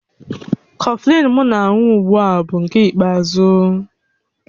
Kọfịn m na-aṅụ ugbu a bụ nke ikpeazụ